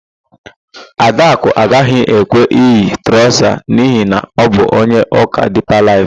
Adakụ agaghị ekwe eyi traụza n'ihi na ọ bụ onye ụka Dipa Laịf.